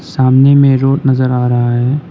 सामने में रोड नजर आ रहा है।